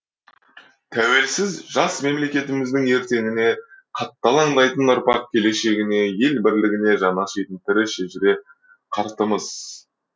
тәуелсіз жас мемлекетіміздің ертеңіне қатты алаңдайтын ұрпақ келешегіне ел бірлігіне жаны ашитын тірі шежіре қартымыз